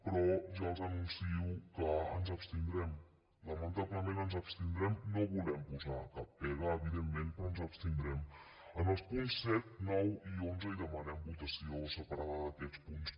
però ja els anuncio que ens abstindrem lamentablement ens abstindrem no volem posar cap pega evidentment però ens abstindrem en els punts set nou i onze i demanem votació separada d’aquests punts